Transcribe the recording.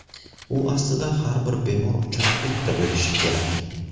U aslida har bir bemor uchun bitta bo‘lishi kerak.